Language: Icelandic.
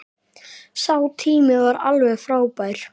Sá tími var alveg frábær.